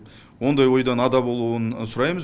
ондай ойдан ада болуын сұраймыз